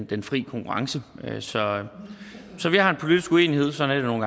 den fri konkurrence så så vi har en politisk uenighed sådan